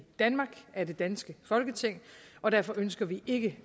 danmark af det danske folketing og derfor ønsker vi ikke